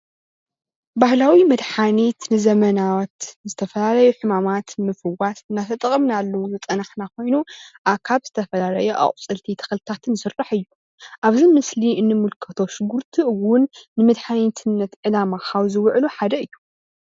ባህላዊ መድሓኒት ንዘበናት ንዝተፈላለዩ ሕማማት ንምፍዋስ እናተጠቀምናሉ ዝፀናሕና ኮይኑ ካብ ዝተፈላለዩ ኣቁፅልቲ ተክልታትን ዝስራሕ እዩ፣ ኣብዚ ምስሊ እንምልከቶ ሽጉርቲ እውን ንመድሓኒትነት ዕላማ ካብ ዝውዕሉ ሓደ እዩ፡፡